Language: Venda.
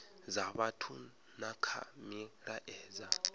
dza vhathu na kha milaedza